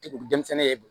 denmisɛnnin ye